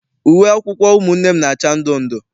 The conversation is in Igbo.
Uwe akwụkwọ ụmụnne m na-acha ndundu.